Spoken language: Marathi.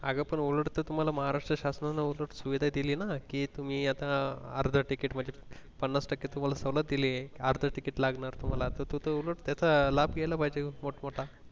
अगं पण ओरड तुम्हाला महाराष्ट्र शासनान सुविधा दिली ना कि तुम्ही आता अर्ध ticket म्हणजे पणास टके तुम्हाला सवलत दिलीये अर्ध ticket लागणार असं तू त उलट त्याचा लाभ घायला पाहिजेल मोठ मोठा